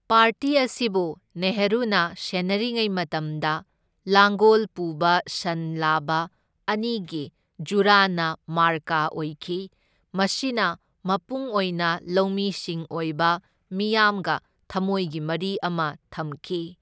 Party ꯑꯁꯤꯕꯨ ꯅꯦꯍꯔꯨꯅ ꯁꯦꯟꯅꯔꯤꯉꯩ ꯃꯇꯝꯗ ꯂꯥꯡꯒꯣꯜ ꯄꯨꯕ ꯁꯟ ꯂꯥꯕ ꯑꯅꯤꯒꯤ ꯖꯨꯔꯥꯅ ꯃꯥꯔꯀꯥ ꯑꯣꯏꯈꯤ, ꯃꯁꯤꯅ ꯃꯄꯨꯡ ꯑꯣꯏꯅ ꯂꯧꯃꯤꯁꯤꯡ ꯑꯣꯏꯕ ꯃꯤꯌꯥꯝꯒ ꯊꯝꯃꯣꯏꯒꯤ ꯃꯔꯤ ꯑꯃ ꯊꯝꯈꯤ꯫